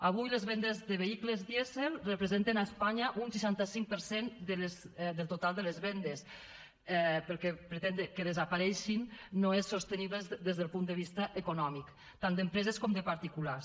avui les vendes de vehicles dièsel representen a espanya un seixanta cinc per cent del total de les vendes perquè pretendre que desapareguin no és sostenible des del punt de vista econòmic tant d’empreses com de particulars